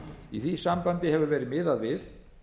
í því sambandi hefur verið miðað við